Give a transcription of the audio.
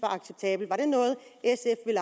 er